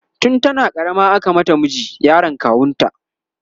tun tana karama aka mata miji, yaron kawunta